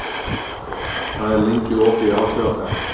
Álfsól, hvað er lengi opið í ÁTVR?